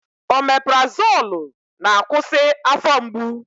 Omeprazolụ na-akwụsị afọ mgbu